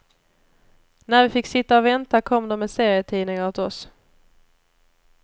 När vi fick sitta och vänta kom de med serietidningar åt oss.